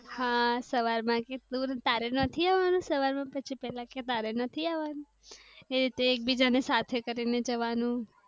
હા સવાર માં તારી નથી આવાનું સવાર માં પછી પેલા કે તારે નથી આવાનું એતે થી એકબીજા ની સાથે કરી ને જવા નું.